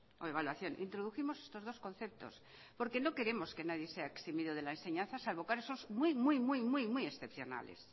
o evaluación introdujimos estos dos conceptos porque no queremos que nadie sea eximido de la enseñanza salvo casos muy muy muy muy excepcionales